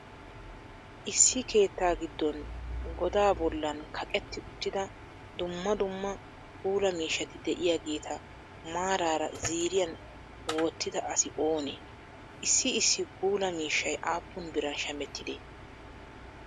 issi keettaa giddon goda bollan kaqeeti uttida duummaa duummaa puula miishshati de'iyageeta maraara ziiriyan wottida asi oone? issi issi puula miishshaay appun biran shamettidee?